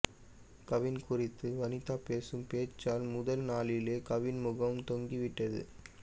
கவின் குறித்து வனிதா பேசும் பேச்சால் முதல் நாளிளேலே கவினின் முகம் தொங்கி விட்டது